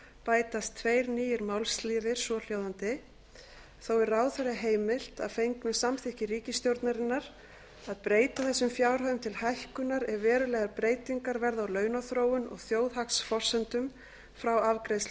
bætast tveir nýir málsliðir svohljóðandi þó er ráðherra heimilt að fengnu samþykki ríkisstjórnarinnar að breyta þessum fjárhæðum til hækkunar ef verulegar breytingar verða á launaþróun og þjóðhagsforsendum frá afgreiðslu